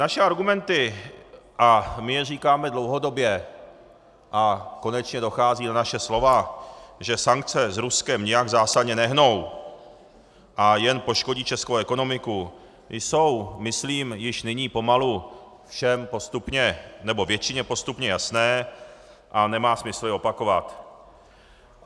Naše argumenty - a my je říkáme dlouhodobě a konečně dochází na naše slova -, že sankce s Ruskem nijak zásadně nehnou a jen poškodí českou ekonomiku, jsou myslím již nyní pomalu všem postupně, nebo většině postupně jasné a nemá smysl je opakovat.